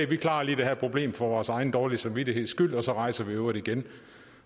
vi klarer lige det her problem for vores egen dårlige samvittigheds skyld og så rejser vi i øvrigt igen